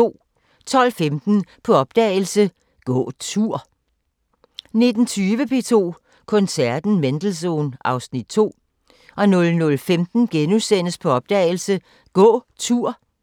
12:15: På opdagelse – Gå tur 19:20: P2 Koncerten – Mendelssohn (Afs. 2) 00:15: På opdagelse – Gå tur *